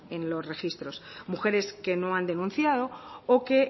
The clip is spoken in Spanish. en los registros mujeres que no han denunciado o que